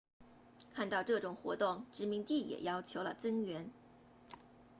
看到这种活动殖民者也要求了增援